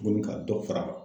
Tuguni ka dɔ fara